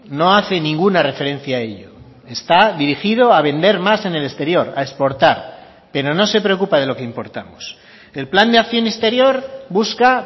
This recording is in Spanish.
no hace ninguna referencia a ello está dirigido a vender más en el exterior a exportar pero no se preocupa de lo que importamos el plan de acción exterior busca